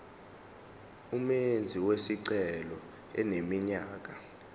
umenzi wesicelo eneminyaka